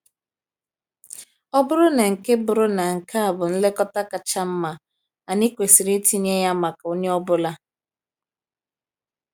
Ọ bụrụ na nke bụrụ na nke a bụ nlekọta kacha mma, anyị kwesịrị itinye ya maka onye ọ bụla.